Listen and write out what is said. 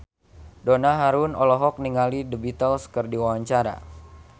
Donna Harun olohok ningali The Beatles keur diwawancara